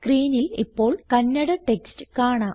സ്ക്രീനിൽ ഇപ്പോൾ കന്നഡ ടെക്സ്റ്റ് കാണാം